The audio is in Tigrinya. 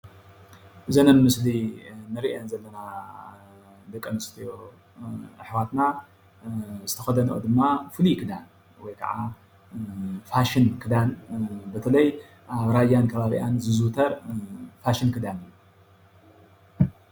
እዘን ኣብ ምስሊ እንሪአን ዘለና ደቂ ኣነስትዮ ኣሕዋትና ዝተከደነኦ ድማ ፍሉይ ክዳን ወይ ከዓ ፋሽን ክዳን በተለይ ኣብ ራያን ከባቢኣን ዝዝውተር ፋሽን ክዳን እዩ፡፡